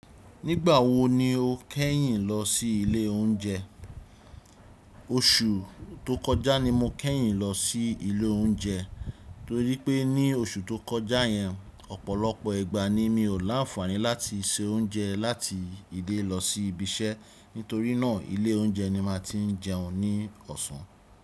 Nígbà wo ni o kẹ́yìn lọ sí ilé oúnjẹ? Oṣù tó kọjá ni mo kẹ́yìn lọ sí ilé oúnjẹ, torí pé ní oṣù tó kọjá yẹn, ọ̀pọ̀lọpọ̀ ìgbà ni mi ò láǹfààní láti se oúnjẹ láti ilé lọ sí ibi iṣẹ́. Nítorínà ilé oúnjẹ ni màá ti ń jẹun ní ọ̀sán.